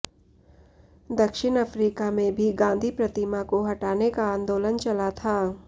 दक्षिण अफ्रीका में भी गांधी प्रतिमा को हटाने का आंदोलन चला था